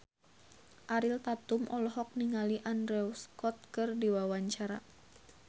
Ariel Tatum olohok ningali Andrew Scott keur diwawancara